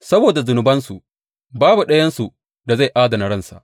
Saboda zunubansu, babu ɗayansu da zai adana ransa.